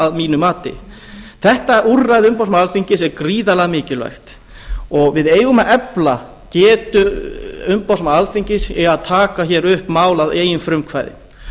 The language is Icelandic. að mínu mati þetta úrræði umboðsmanns alþingis er gríðarlega mikilvægt og við eigum að efla getu umboðsmanns alþingis í að taka hér upp mál að eigin frumkvæði